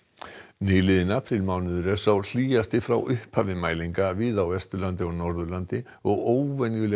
nýliðinn apríl er sá hlýjasti frá upphafi mælinga víða á Vesturlandi og Norðurlandi og óvenjulega